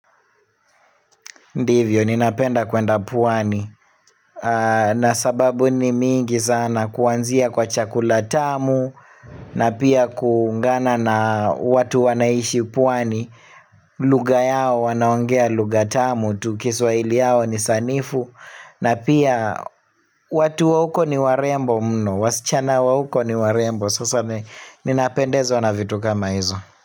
Ndivyo, ninapenda kwenda pwani, na sababu ni mingi sana kuanzia kwa chakulatamu, na pia kuungana na watu wanaishi pwani, lugha yao wanaongea lugha tamu, tu kiswaili yao ni sanifu, na pia watu wa huko niwarembo mno, wasichana wa huko niwarembo, sasa ninapendezwa na vitu kama hizo.